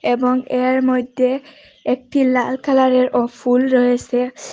এবং এর মইধ্যে একটি লাল কালারেরও ফুল রয়েছে।